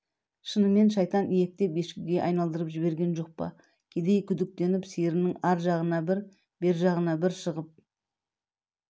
шынымен шайтан иектеп ешкіге айналдырып жіберген жоқ па кедей күдіктеніп сиырының ар жағына бір бер жағына бір шығып